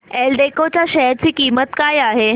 एल्डेको च्या शेअर ची किंमत काय आहे